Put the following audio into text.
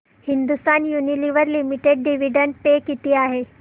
Hindustan Unilever Limited dividend pay किती आहे